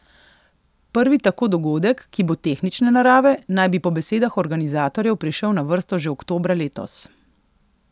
Prvi tako dogodek, ki bo tehnične narave, naj bi po besedah organizatorjev prišel na vrsto že oktobra letos.